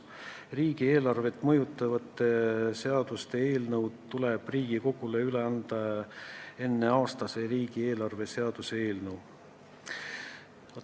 Riigieelarvet mõjutavate seaduste eelnõud tuleb Riigikogule üle anda enne konkreetse aasta riigieelarve seaduse eelnõu.